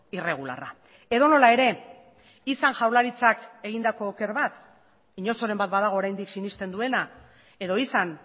irregularra edonola ere izan jaurlaritzak egindako oker bat inozoren bat badago oraindik sinesten duena edo izan